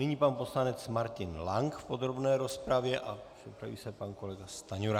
Nyní pan poslanec Martin Lank v podrobné rozpravě a připraví se pan kolega Stanjura.